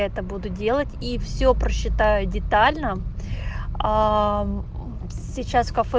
это буду делать и все прочитаю детально сейчас в кафе